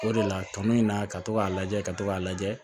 O de la tɔnɔ in na ka to k'a lajɛ ka to k'a lajɛ